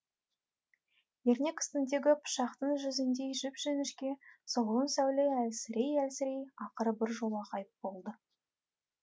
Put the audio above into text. ернек үстіндегі пышақтың жүзіндей жіп жіңішке солғын сәуле әлсірей әлсірей ақыры біржола ғайып болды